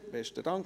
Besten Dank.